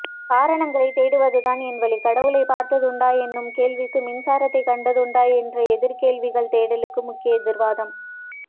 காரணங்களைத் தேடுவதுதான் என்வழி கடவுளைப் பார்த்ததுண்டா என்னும் கேள்விக்கு மின்சாரத்தைக் கண்டதுண்டா என்று எதிர்க் கேள்விகள் தேடலுக்கு முக்கிய எதிர்வாதம்